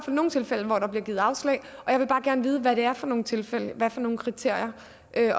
nogle tilfælde hvor der bliver givet afslag og jeg vil bare gerne vide hvad det er for nogle tilfælde og hvad er for nogle kriterier